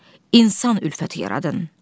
İnsan ülfəti yaradın.